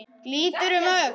Lítur um öxl.